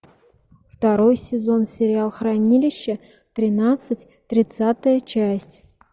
второй сезон сериал хранилище тринадцать тридцатая часть